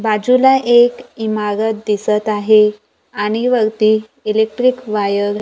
बाजूला एक इमारत दिसत आहे आणि वरती इलेक्ट्रिक वायर --